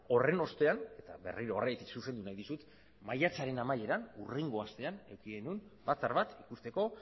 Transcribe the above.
horren ostean eta berriro horregatik zuzendu nahi dizut maiatzaren amaieran hurrengo astean eduki genuen batzar bat ikusteko